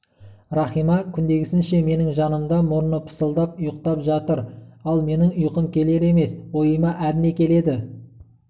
рахима күндегісінше менің жанымда мұрны пысылдап ұйықтап жатыр ал менің ұйқым келер емес ойыма әрне келеді